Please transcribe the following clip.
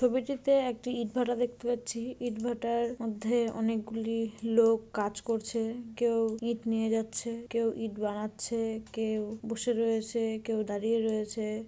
ছবিটিতে একটি ইট ভাঁটা দেখতে পাচ্ছি ইট ভাঁটার মধ্যে অনেকগুলি লোক কাজ করছে কেউ ইট নিয়ে যাচ্ছে কেউ ইট বানাচ্ছে কেউ বসে রয়েছে কেউ দাঁড়িয়ে রয়েছে।